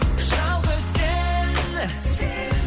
жалғыз сен сен